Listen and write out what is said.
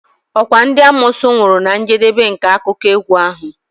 Okwa ndị amoosu nwụrụ na njedebe nke akụkọ egwu ahụ?